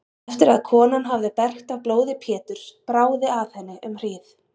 Eftir að konan hafði bergt af blóði Péturs bráði af henni um hríð.